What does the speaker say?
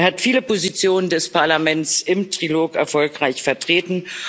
Er hat viele Positionen des Parlaments im Trilog erfolgreich vertreten.